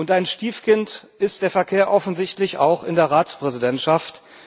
Ein Stiefkind ist der Verkehr offensichtlich auch in der Ratspräsidentschaft.